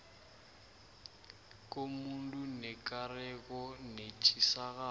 komuntu nekareko netjisakalo